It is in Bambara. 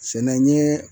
Sɛnɛ n ye